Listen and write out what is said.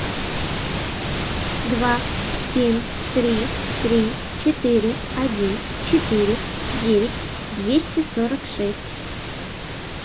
два семь три три четыре один четыре девять двести сорок шесть